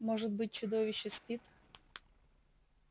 может быть чудовище спит